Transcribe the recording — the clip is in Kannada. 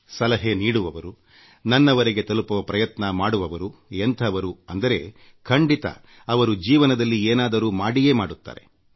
ಸಲಹೆ ನೀಡುವವರು ನನ್ನವರೆಗೆ ತಲುಪುವ ಪ್ರಯತ್ನ ಮಾಡುವವರು ಎಂಥವರು ಅಂದ್ರೆ ಖಂಡಿತ ಅವರು ಜೀವನದಲ್ಲಿ ಏನಾದ್ರೂ ಮಾಡಿಯೇ ಮಾಡುತ್ತಾರೆ